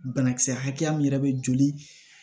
Banakisɛ hakɛya min yɛrɛ bɛ joli